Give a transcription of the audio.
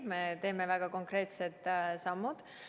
Me teeme väga konkreetsed sammud.